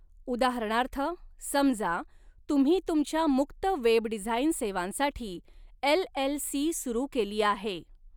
उदाहरणार्थ, समजा, तुम्ही तुमच्या मुक्त वेब डिझाईन सेवांसाठी एल.एल.सी. सुरू केली आहे.